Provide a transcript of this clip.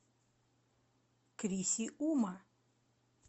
крисиума